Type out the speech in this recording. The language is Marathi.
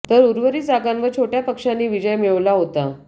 तर उर्वरित जागांवर छोटय़ा पक्षांनी विजय मिळविला होता